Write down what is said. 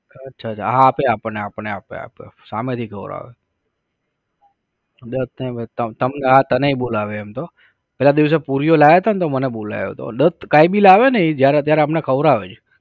અચ્છા અચ્છા અચ્છા હા આપે આપણને આપણે આપે આપે સામેથી ખવડાવે તનેય બોલાવે એમ તો. પેલા દિવસે પૂરીઓ લાવ્યા હતા ને તો મને બોલાયા તો, કાઇ ભી લાવે ને એ જ્યારે ત્યારે આપણને ખવડાવે જ